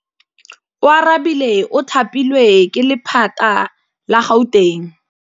Oarabile o thapilwe ke lephata la Gauteng.